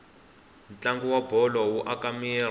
ntlangu wabholo wu aka miri